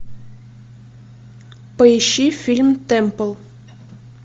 поищи фильм темпл